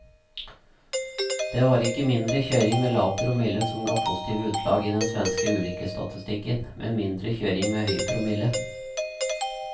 Det var ikke mindre kjøring med lav promille som ga positive utslag i den svenske ulykkesstatistikken, men mindre kjøring med høy promille.